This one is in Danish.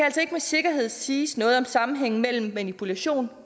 med sikkerhed siges noget om sammenhængen mellem manipulation